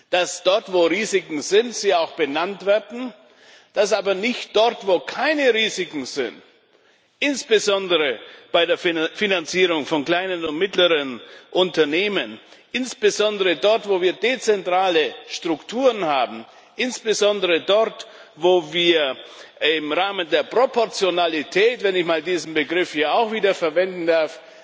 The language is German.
dass dort, wo Risiken sind, diese auch benannt werden, dass wir aber dort, wo keine Risiken sind, insbesondere bei der Finanzierung von kleinen und mittleren Unternehmen, insbesondere dort, wo wir dezentrale Strukturen haben, insbesondere im Rahmen der Proportionalität wenn ich diesen Begriff auch wieder einmal verwenden darf